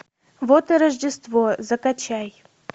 вот и рождество закачай